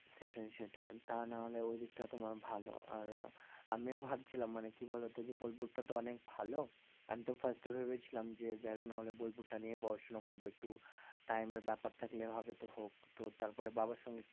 সেটাই সেটাই, তা না হলে ওই দিকটা তোমার ভালো আর আমিও ভাবছিলাম মানে কি বলতো যে বোলপুরটা তো অনেক ভালো, আমি তো first এ ভেবেছিলাম যে যাই হোক না হলে বোলপুর টা নিয়ে পড়াশোনা করব একটু time এর ব্যাপার থাকলে হবে তো হোক, তো তারপরে বাবার সঙ্গে একটু